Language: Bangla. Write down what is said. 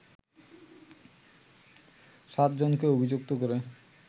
সাতজনকে অভিযুক্ত করে